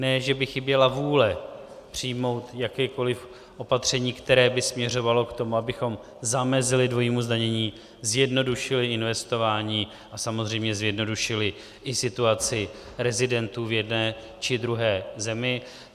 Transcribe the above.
Ne že by chyběla vůle přijmout jakékoliv opatření, které by směřovalo k tomu, abychom zamezili dvojímu zdanění, zjednodušili investování a samozřejmě zjednodušili i situaci rezidentů v jedné či druhé zemi.